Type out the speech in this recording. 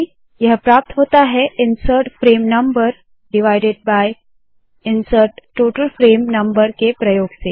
यह प्राप्त होता है insert frame number divided by insert total frame number के प्रयोग से